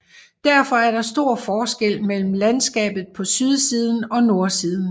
Derfor er der stor forskel mellem landskabet på sydsiden og nordsiden